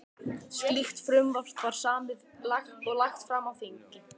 Slíkt frumvarp var samið og lagt fram á þingi